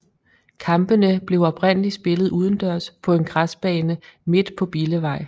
Kampene blev oprindelig spillet udendørs på en græsbane midt på Billevej